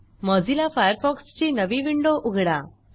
Mozilla Firefox ची नवी window उघडा